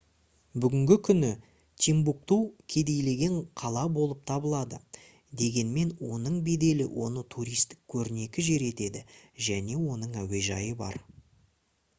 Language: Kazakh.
бүгінгі күні тимбукту кедейленген қала болып табылады дегенмен оның беделі оны туристік көрнекті жер етеді және оның әуежайы бар